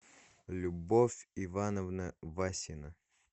любовь ивановна васина